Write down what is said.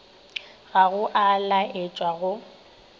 ga go a laetšwa go